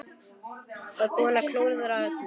Og búinn að klúðra öllu!